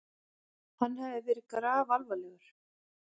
Hann hafði verið grafalvarlegur.